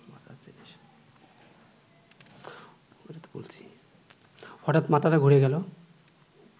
হঠাৎ মাথাটা ঘুরে গেল